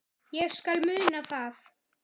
Ég skal muna það.